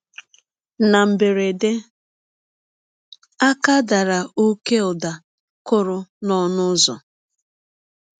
Na mberede, aka dara ọké ụda kụrụ n’ọnụ ụzọ.